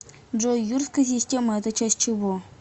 джой юрская система это часть чего